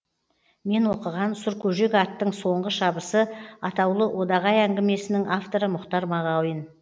мен оқыған сұркөжек аттың соңғы шабысы атаулы одағай әңгімесінің авторы мұхтар мағауин